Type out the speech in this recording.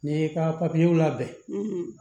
N'i y'i ka papiyew labɛn